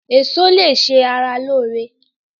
Eso lè ṣe ara lóore.